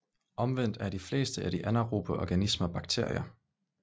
Omvendt er de fleste af de anaerobe organismer bakterier